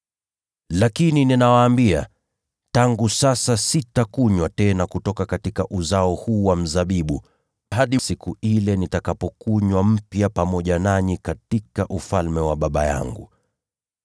Lakini ninawaambia, tangu sasa sitakunywa tena katika uzao huu wa mzabibu, hadi siku ile nitakapounywa mpya pamoja nanyi katika Ufalme wa Baba yangu.”